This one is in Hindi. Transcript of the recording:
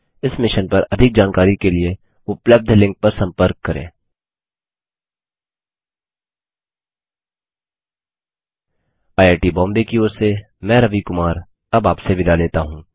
इस मिशन पर अधिक जानकारी के लिए उपलब्ध लिंक पर संपर्क करें httpspoken tutorialorgNMEICT Intro IIT Bombay की ओर से मैं रवि कुमार अब आपसे विदा लेता हूँ